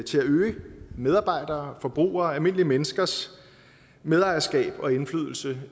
til at øge medarbejderes forbrugeres almindelige menneskers medejerskab af og indflydelse